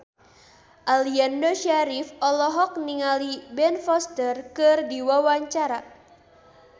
Aliando Syarif olohok ningali Ben Foster keur diwawancara